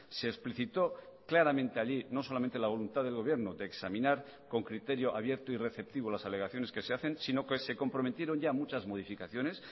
se explicitó claramente allí no solamente la voluntad del gobierno de examinar con criterio abierto y receptivo las alegaciones que se hacen si no que se comprometieron ya muchas modificaciones